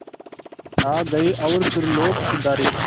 आ गए और सुरलोक सिधारे